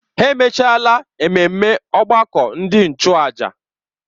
Ha emechaala ememme ọgbakọ ndị nchụàjà.